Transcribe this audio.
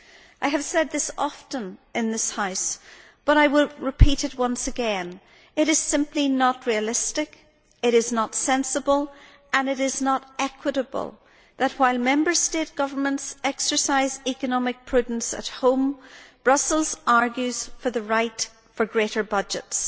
I have said this often in this House but I will repeat it once again it is simply not realistic, it is not sensible and it is not equitable that, while Member State governments exercise economic prudence at home, Brussels argues for the right for greater budgets.